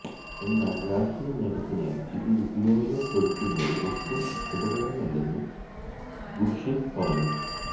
എന്നാല് രാഷ്ട്രീയ നേട്ടത്തിനായി ഇത് ഉപയോഗപ്പെടുത്തുന്നത് ഒട്ടും ശുഭകരമല്ലെന്നും ഖുര്ഷിദ് പറഞ്ഞു